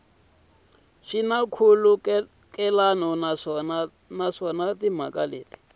swi na nkhulukelano naswona timhaka